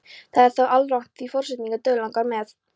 Það er þó alrangt því forsetann dauðlangar með.